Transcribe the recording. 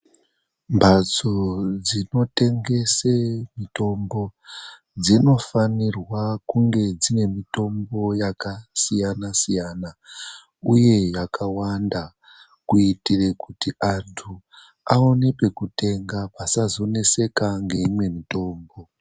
Mhatso dzinotengese mitombo dzinofanirwa kunge dziine mitombo yakasiyana-siyana, uye yakawanda kuitire kuti antu aone pekutenga asazoneseka ngeimwe mitombo.